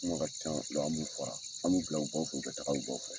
Komi a ka can an b'u fara an b'u bila o baw fɛ u ka taga u baw fɛ.